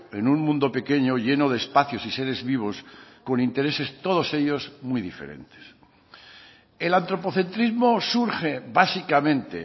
en un mundo pequeño lleno de espacios y seres vivos con intereses todos ellos muy diferentes el antropocentrismo surge básicamente